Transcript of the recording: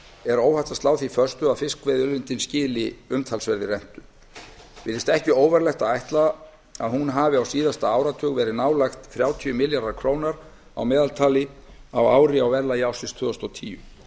er óhætt að slá því föstu að fiskveiðiauðlindin skili umtalsverðri rentu virðist ekki óvarlegt að ætla að hún hafi á síðasta áratug verið nálægt þrjátíu milljörðum króna að meðaltali á ári á verðlagi ársins tvö þúsund og tíu